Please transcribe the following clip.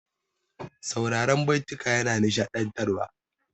Sauraran baituka yana nishaɗantarwa.